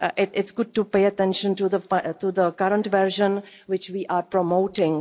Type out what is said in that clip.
It's good to pay attention to the current version, which we are promoting.